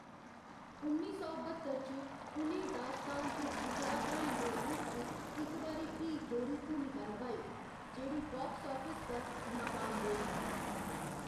उन्नी सौ बत्तर च, उ'नें दास्तान च जुटड़ा भ्राएं दे रूप च इक बारी फ्ही दोह्‌री भूमका नभाई, जेह्‌‌ड़ी बाक्स आफिस पर नाकाम रेही।